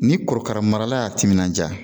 Ni korokara marala y'a timinandiya